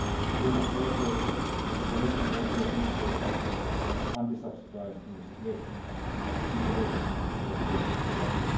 Two months later, the Commission also initiated an anti subsidy investigation in relation to the same product.